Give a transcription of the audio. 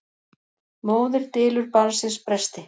Móðir dylur barnsins bresti.